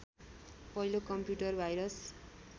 पहिलो computer virus